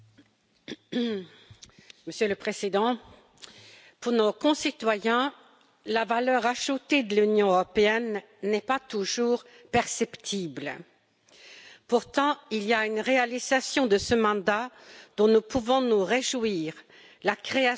Monsieur le Président, pour nos concitoyens, la valeur ajoutée de l'Union européenne n'est pas toujours perceptible. Pourtant, il y a une réalisation de ce mandat dont nous pouvons nous réjouir la création d'un Parquet européen